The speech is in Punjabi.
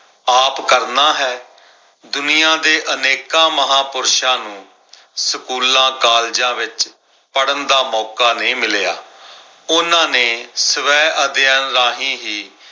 ਆਪ ਕਰਨਾ ਹੈ। ਦੁਨੀਆਂ ਦੇ ਅਨੇਕਾਂ ਮਹਾਪੁਰਸ਼ਾਂ ਨੂੰ ਸਕੂਲਾਂ, ਕਾਲਜਾਂ ਵਿਚ ਪੜਨ ਦਾ ਮੌਕਾ ਨਈ ਮਿਲਿਆ। ਉਹਨਾਂ ਨੇ ਸਵੈ ਅਧਿਐਨ ਰਾਹੀਂ ਹੀ ਆਪ ਕਰਨਾ ਹੈ।